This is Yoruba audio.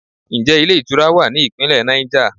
Ǹjẹ́ ilé ìtura wa ní Ìpínlẹ̀ Niger?